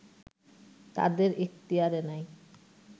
তাদের ইখতিয়ারে নাই